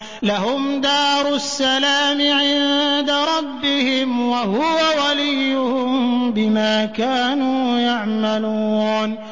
۞ لَهُمْ دَارُ السَّلَامِ عِندَ رَبِّهِمْ ۖ وَهُوَ وَلِيُّهُم بِمَا كَانُوا يَعْمَلُونَ